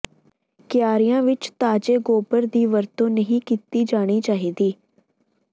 ਕਿਆਰੀਆਂ ਵਿਚ ਤਾਜ਼ੇ ਗੋਬਰ ਦੀ ਵਰਤੋਂ ਨਹੀਂ ਕੀਤੀ ਜਾਣੀ ਚਾਹੀਦੀ